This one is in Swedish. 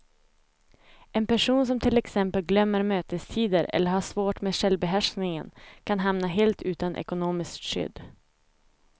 En person som till exempel glömmer mötestider eller har svårt med självbehärskningen kan hamna helt utan ekonomiskt skydd.